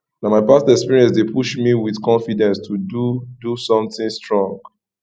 na my past experience dey push me with confidence to do do something strong